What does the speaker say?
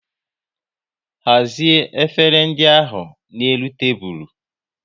Hazie efere ndị ahụ na n'elu tebụl